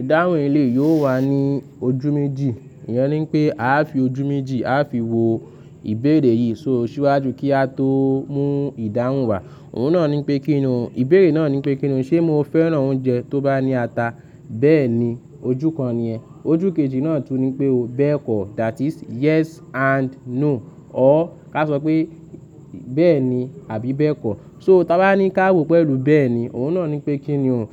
Ìdáhùn ilé yóò wà ní ojú méjì. Ìyẹn ní pé a fi ojú méjì, a fi wo ìbéèrè yìí sóò síwájú kí a tó mú ìdáhùn wá. Òun náà ní pé kíni òun, ìbéèrè náà ní pé kíni òun, ṣé mo fẹ́ràn oúnjẹ tó bá ní ata? Bẹ́ẹ̀ni, ojú kan ni ẹ. Ojú kejì náà tún ní pé o, bẹ́ẹ̀kọ́, that is yes and no. Ọ́ ká sọ pé bẹ́ẹ̀ni àbí bẹ́ẹ̀kọ́. So tí a bá ní ká wò pẹ̀lú bẹ́ẹ̀ni, òun náà ní pé kíni òun,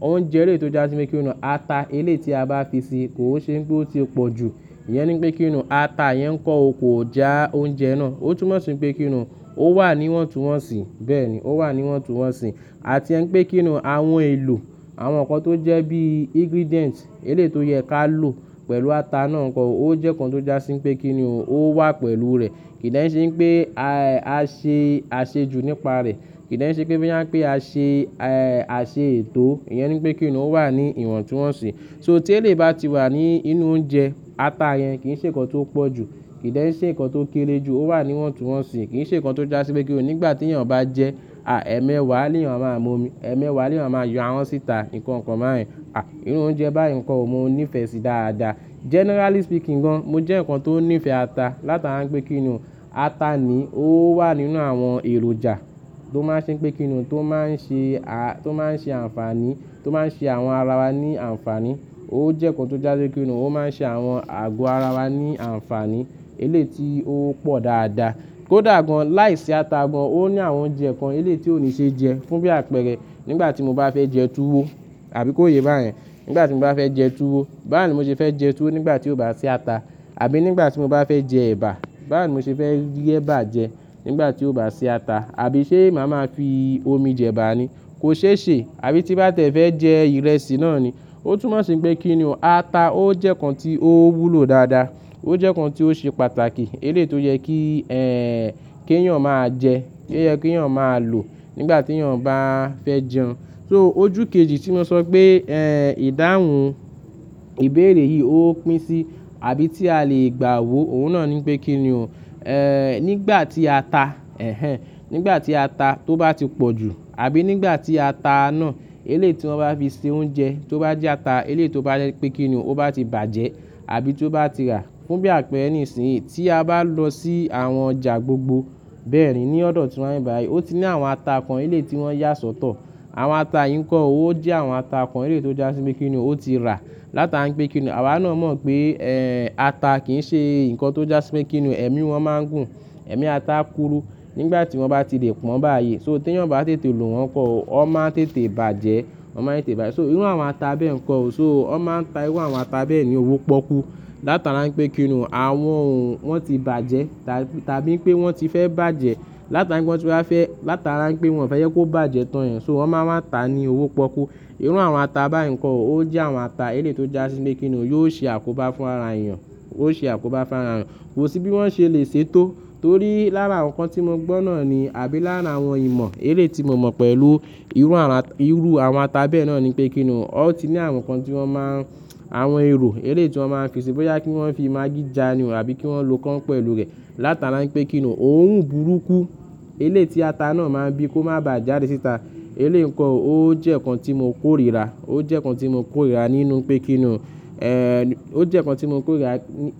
oúnjẹ ẹlẹ́tò já síbí pé kíni òun ata elé tí a bá fi sí i kò ṣe pé ó ti pọ̀jù. Ìyẹn ní pé kíni òun ata yẹn kó ò kó jẹ oúnjẹ náà. Ó tún má sin pé kíni òun ó wà ní ìwọ̀ntúnwọ̀nsì, bẹ́ẹ̀ni ó wà ní ìwọ̀ntúnwọ̀nsì. A ti ń pé kíni òun àwọn èlò, àwọn nǹkan tó jẹ́ bí ingredients elé tó yẹ ká lò pẹ̀lú ata náà nǹkan ó jẹ́ nǹkan tó jásí pé kíni òun ó wà pẹ̀lú rẹ̀. Kì í dẹ́n ṣe pé a, a ṣe àṣejù nípa rẹ̀. Kì í dẹ́n ṣe ń pé bí a ń pé a ṣe àṣe ètò. Ìyẹn ní pé kíni òun ó wà ní ìwọ̀ntúnwọ̀nsì. So tí ẹlẹ́ bá ti wà ní inú oúnjẹ, ata yẹn kì í ṣe nǹkan tó pọ̀jù, kì í dẹ́ ń ṣe nǹkan tó kéré jù, ó wà ní ìwọ̀ntúnwọ̀nsì, kì í ṣe nǹkan tó jásí pé kíni òun nígbà tí èèyàn bá jẹ ẹ̀mẹ́wàá ni èèyàn máa mú omi, ẹ̀mẹ́wàá ni èèyàn máa yọ àwọn síta, nǹkan kan bá yẹ irú oúnjẹ báyìí ńkọ́ o mọ́ níí ìfẹ́ sí dáadáa. Generally speaking gan, mo jẹ́ nǹkan tó nífẹ̀ẹ́ ata látara pé kíni òun ata ni ó wà nínú àwọn èròjà tó máa ń ṣe pé kíni òun tó máa ń ṣe a, tó máa ń ṣe àǹfààní, tó máa ń ṣe àwọn ara wa ní àǹfààní. Ó jẹ́ nǹkan tó jásí pé kíni òun ó máa ń ṣe àwọn àgọ́ ara wa ní àǹfààní elé tí ó pọ̀ dáadáa. Kó dàgbà láìsí ata gan, ó ní àwọn oúnjẹ kan elé tí ò ní ṣe jẹ fún bí àpẹẹrẹ nígbà tí mo bá fẹ́ jẹ tuwo àbí kó yé bá yẹn. Nígbà tí mo bá fẹ́ jẹ tuwo, bawo ní mo ṣe fẹ́ jẹ tuwo nígbà tí ó bá ṣi ata àbí nígbà tí mo bá fẹ́ jẹ ẹ̀bà, bawo ńí mo ṣe rí ẹ̀bà jẹ nígbà tí ó bá sì ata àbí ṣé màá máa fi omi jẹ ẹ̀bà ni kò ṣe é ṣe àbí tí bá tẹ fẹ́ jẹ ìrẹsì náà ni. Ó tún má sin pé kíni òun ata ó jẹ́ nǹkan tí ó wúlò dáadáa. Ó jẹ́ nǹkan tí ó ṣe pàtàkì elé tó yẹ kí kí èèyàn máa jẹ, kí èèyàn máa lò nígbà tí èèyàn bá fẹ́ jẹun. So ojú kejì tí mo sọ pé ìdáhùn ìbéèrè yìí ó pín sí àbí tí a lè gbà wò, òun náà ní pé kíni òun nígbà tí ata nígbà tí ata tó bá ti pọ̀jù àbí nígbà tí ata náà elé tí wọ́n bá fi ṣe oúnjẹ tó bá jẹ́ ata elé tó bá yẹ pé kíni òun ó bá ti bàjẹ́ àbí tó bá ti rà fún bí àpẹẹrẹ nísìnyí tí a bá lọ sí àwọn ọjà gbogbo bẹ́ẹ̀ni ní ọ̀dọ̀ tí wọ́n bá yí, ó ti ní àwọn ata kan elé tí wọ́n yà sọ́tọ̀. Àwọn ata yìí ńkọ́ ó jẹ́ àwọn ata kan elé tó jásí pé kíni òun ó ti rà látara pé kíni òun àwa náà mọ̀ pé ata kì í ṣe nǹkan tó jásí pé kíni ẹ̀mí wọn máa ń gùn, ẹ̀mí ata kúru nígbà tí wọ́n bá ti lè pọ́n bá yí. So tí èèyàn bá tètè lò wọ́n pọ́, ó máa ń tètè bàjẹ́, ó máa ń tètè bàjẹ́. So inú àwọn ata bẹ́ẹ̀ ńkọ́ o, so wọ́n máa ń ta inú àwọn ata bẹ́ẹ̀ ní owó pọ́kú látara pé kíni òun àwọn òun wọ́n ti bàjẹ́ ta, tàbí pé wọ́n ti fẹ́ bàjẹ́ látara pé wọ́n ti fẹ́, látara pé wọ́n fẹ́ yẹ kó bàjẹ́ tán èèyàn so wọ́n máa ń ta ní owó pọ́kú. Irú àwọn ata bá ìńkọ́ o ó jẹ́ àwọn ata elé tó jásí pé kíni òun yóò ṣe àkóbá fún ara èèyàn, ó ṣe àkóbá fún ara èèyàn. Kò sí bí wọ́n ṣe lè ṣe tó torí lára àwọn nǹkan tí mo gbọ́ náà ni àbí lára àwọn ìmọ̀ elé tí mo mọ̀ pẹ̀lú irú àwọn ata, irú àwọn ata bẹ́ẹ̀ náà ni pé kíni òun ó ti ní àwọn nǹkan tí wọ́n máa ń, àwọn èrò elé tí wọ́n máa ń fi síbí yá kí wọ́n fi magí já ni wọ́n àbí kí wọ́n lò kàn pẹ̀lú rẹ̀ látara pé kíni òun òun burúkú elé tí ata náà máa ń bí kó má bà jádì síta. Elé ǹkan ò ó jẹ́ nǹkan tí mo kórìíra, ó jẹ́ nǹkan tí mo kórìíra nínú pé kíni òun ó jẹ́ nǹkan tí mo kórìíra,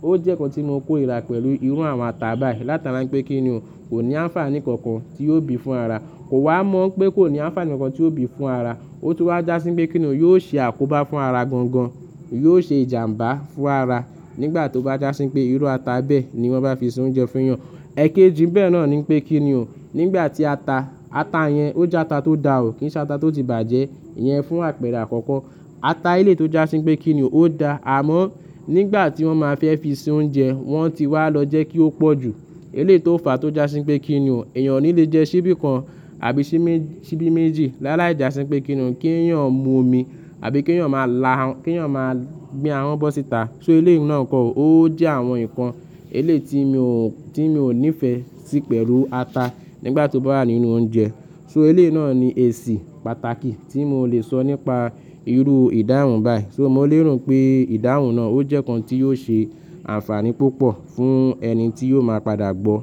ó jẹ́ nǹkan tí mo kórìíra pẹ̀lú irú àwọn ata bayii látara pé kíni òun kò ní àǹfààní kankan tí yóò bí fún ara. Kò wá mọ̀ pé kò ní àǹfààní nǹkan tí yóò bí fún ara. Ó tún wá jásí pé kíni òun yóò ṣe àkóbá fún ara gan gan, yóò ṣe ìjàǹbá fún ara nígbà tó bá jásí pé irú ata bẹ́ẹ̀ ni wọ́n bá fi ṣe oúnjẹ fún èèyàn. Ẹ̀kejì bẹ́ẹ̀ náà ni pé kíni òun nígbà tí ata, ata yẹn ó jẹ́ ata tó dà o, kì í ṣe ata tó ti bàjẹ́, ìyẹn fún àpẹẹrẹ àkọ́kọ́. Ata elé tó jásí pé kíni òun ó dá àmọ́ nígbà tí wọ́n máa fẹ́ fi ṣe oúnjẹ wọ́n ti wá lọ jẹ́ kí ó pọ̀jù elé tó fà tó jásí pé kíni òun èèyàn ní lè jẹ síbí kan àbí síbí méjì láàlá ìjàsín pé kíni òun kí èèyàn mú omi àbí kí èèyàn máa la, kí èèyàn máa gbé àwọn bọ́ síta. So elé náà ǹkan ò ó jẹ́ àwọn nǹkan elé tí mi ò, tí mi ò nífẹ̀ẹ́ sí pẹ̀lú ata nígbà tó bá wà nínú oúnjẹ. So elé náà ni èsì pàtàkì tí mo lè sọ nípa irú ìdáhùn báyìí. So mo lérò pé ìdáhùn náà ó jẹ́ nǹkan tí yóò ṣe àǹfààní púpọ̀ fún ẹni tí yóò máa padà gbọ́.